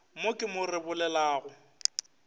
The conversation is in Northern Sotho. mo ke mo re lebelelago